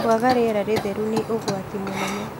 Kwaga rĩera itheru nĩ ũgwati mũnene